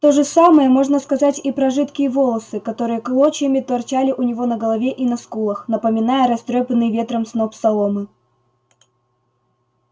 то же самое можно сказать и про жидкие волосы которые клочьями торчали у него на голове и на скулах напоминая растрёпанный ветром сноп соломы